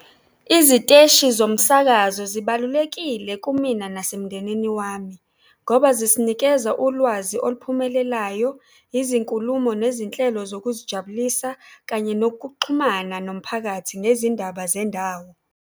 Iziteshi zomsakazo zibalulekile kumina nasemndenini wami ngoba zisinikeza ulwazi oluphumelelayo, izinkulumo nezinhlelo zokuzijabulisa, kanye nokuxhumana nomphakathi nezindaba zendawo.